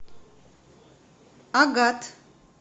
агат